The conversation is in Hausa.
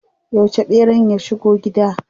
Yauce ɓeran ya shigo gida?